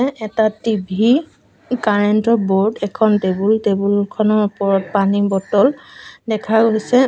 ইয়াত এটা টি_ভি কাৰেণ্টৰ ব'ৰ্ড এখন টেবুল টেবুলখনৰ ওপৰত পানী বটল দেখা গৈছে।